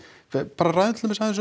bara ræðum til dæmis aðeins